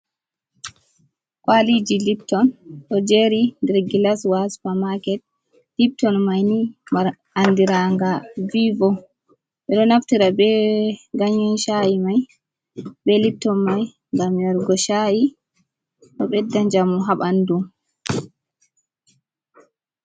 Kwaliji lipton ɗo jeeri nder gilaswa haa supa- maaket, lipton may ni mari andirannga viivo. Ɓedo naftira be gannyen caa`i may, be lipton may ngam yargo caa`i. Ɗo ɓedda njamu haa ɓanndu.